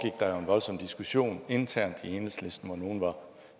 der jo en voldsom diskussion internt i enhedslisten hvor nogle var